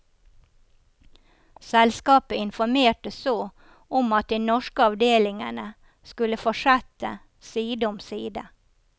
Selskapet informerte så om at de norske avdelingene skulle fortsette side om side.